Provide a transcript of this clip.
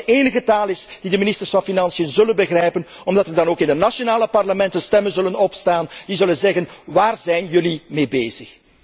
Ik denk dat dat de enige taal is die de ministers van Financiën zullen begrijpen, omdat er dan ook in de nationale parlementen stemmen zullen opgaan die zullen zeggen waar zijn jullie mee bezig?